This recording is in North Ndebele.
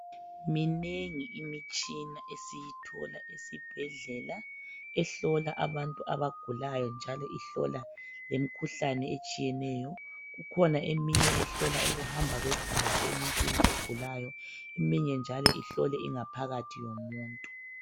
Minengi imitshina esiyithola esibhedlela ehlola abantu abagulayo njalo ihlola lemkhuhlane etshiyeneyo. Kukhona eminye ehlola ukuhamba kwegazi emuntwini ogulayo. Eminye njalo ihlole ingaphakathi yomuntu.